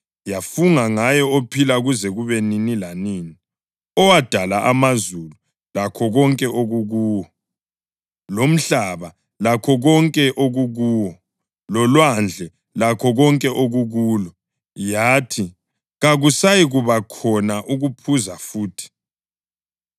Yafunga ngaye ophilayo kuze kube nini lanini, owadala amazulu lakho konke okukuwo, lomhlaba lakho konke okukuwo lolwandle lakho konke okukulo, yathi, “Kakusayikuba khona ukuphuza futhi!